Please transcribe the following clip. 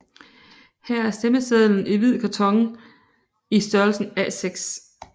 Her er stemmesedlen i hvidt karton i størrelsen A6